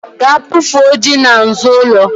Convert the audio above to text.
Gaa bufuo ji n'azụ ụlọ